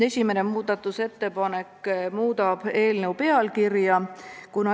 Esimene muudatusettepanek muudab eelnõu pealkirja.